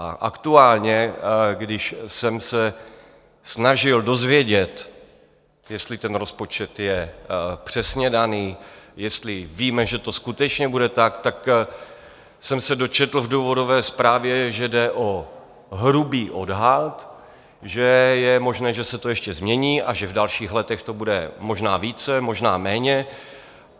A aktuálně, když jsem se snažil dozvědět, jestli ten rozpočet je přesně daný, jestli víme, že to skutečně bude tak, tak jsem se dočetl v důvodové zprávě, že jde o hrubý odhad, že je možné, že se to ještě změní a že v dalších letech to bude možná více, možná méně.